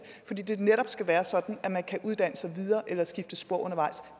fordi det netop skal være sådan at man kan uddanne sig videre eller skifte spor undervejs